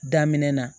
Daminɛ na